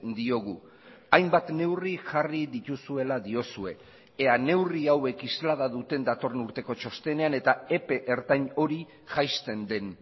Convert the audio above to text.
diogu hainbat neurri jarri dituzuela diozue ea neurri hauek islada duten datorren urteko txostenean eta epe ertain hori jaisten den